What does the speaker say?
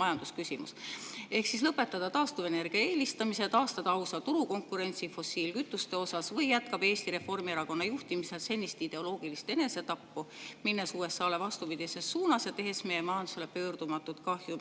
majandusküsimus – ehk siis lõpetada taastuvenergia eelistamise ja taastada ausa turukonkurentsi fossiilkütuste osas või jätkab Eesti Reformierakonna juhtimisel senist ideoloogilist enesetappu, minnes vastupidises suunas USA‑ga ja tehes meie majandusele pöördumatut kahju?